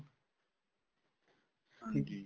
ਹਾਂਜੀ